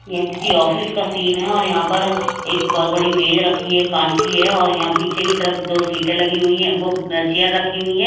यह किसी ऑफिस का सीन है और यहां पर एक बहोत बड़ी मेज रखी है कांच की है और यहां पीछे की तरफ दो सीटें लगी हुई हैं वो चेयर रखी हुई हैं।